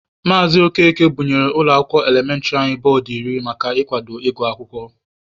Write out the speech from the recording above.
Maazị Okeke bunyere ụlọ akwụkwọ elementịrị anyị bọọdụ iri maka ikwado ịgụ akwụkwọ.